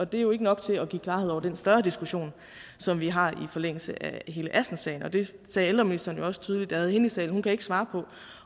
det er jo ikke nok til at give klarhed over den større diskussion som vi har i forlængelse af hele assenssagen og det sagde ældreministeren også tydeligt da vi havde hende i salen hun kan ikke svare på